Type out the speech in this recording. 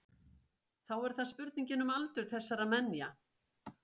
Þá er það spurningin um aldur þessara menja.